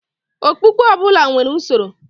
Okpukpe ọbụla nwere usoro.